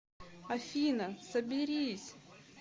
афина соберись